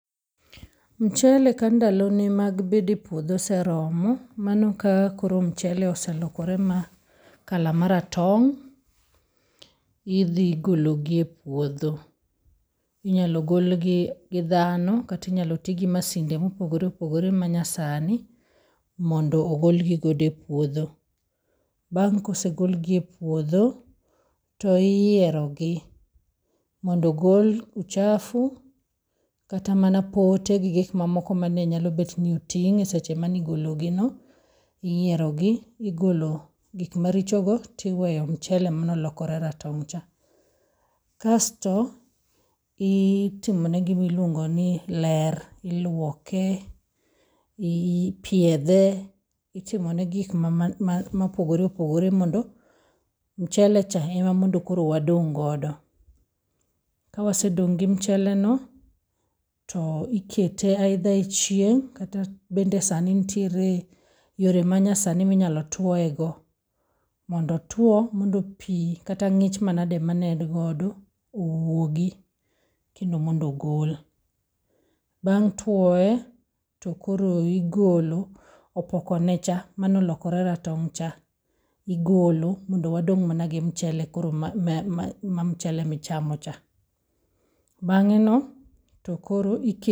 Mchele ka ndalo ne mag bede puodho oseromo, mano ka koro mchele oselokore ma colour maratong', idhi gologi e puodho. Inyalo golgi gi dhano kata inyalo tii gi masinde mopogore opogore manyasani mondo ogolgi godo e puodho. Bang' kosegolgi e puodho, to iyiero gi mondo ogol uchafu kata mana pote gi gik mamaoko mane nyalo bet ni nitie e seche manigologi no, iyiero gi, igolo gik maricho go tiweyo mchele manolokore ratong' cha. Kasto itimone gimiluongo ni ler, iluoke, ipiedhe, itimone gik ma man ma mopogore opogore mondo mchele cha ema mondo koro wadong' godo. Kawasedong' gi mchele no, to ikete either e chieng' kata bende sani nitiere yore manyasani minyalo twoe go, mondo otwo mondo pii kata ng'ich manade mane en godo owuogi kendo mondo ogol. Bang' twoe to koro igolo opoko ne cha, manolokore ratong' cha, igolo mondo koro wadong' mana gi mchele ma, ma ma mchele michamo cha. Bang'e no to koro ike.